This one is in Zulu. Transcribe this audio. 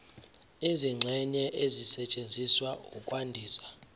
izingxenye ezisetshenziswa ukwandisa